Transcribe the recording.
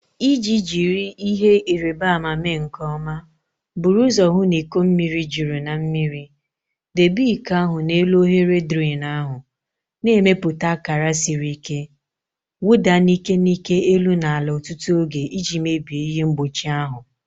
Iji jiri ihe nrịbama mee nke ọma, buru ụzọ hụ na iko mmiri juru na mmiri. Debe iko ahụ n'elu oghere drain ahụ, na-emepụta akara siri ike. Wụda n'ike n'ike elu na ala ọtụtụ oge iji mebie ihe mgbochi ahụ..